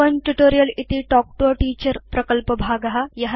spoken tutorial इति talk to a teacher प्रकल्पभाग